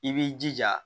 I b'i jija